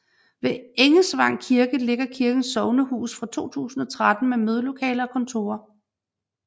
Ved Engesvang Kirke ligger kirkens sognehus fra 2013 med mødelokaler og kontorer